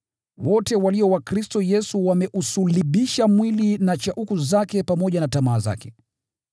Wote walio wa Kristo Yesu wameusulubisha mwili na shauku zake pamoja na tamaa zake.